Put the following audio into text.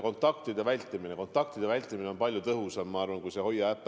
Kontaktide vältimine on palju tõhusam kui see Hoia äpp.